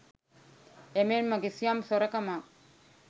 එමෙන්ම කිසියම් සොරකමක්